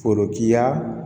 Forokiya